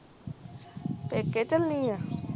ਪੇਕੇ ਚਲੀ ਆ